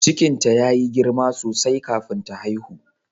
Cikinta ya yi girma sosai kafin ta haihu.